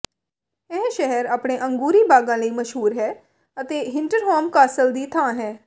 ਇਹ ਸ਼ਹਿਰ ਆਪਣੇ ਅੰਗੂਰੀ ਬਾਗਾਂ ਲਈ ਮਸ਼ਹੂਰ ਹੈ ਅਤੇ ਹਿੰਟਰਹੌਸ ਕਾਸਲ ਦੀ ਥਾਂ ਹੈ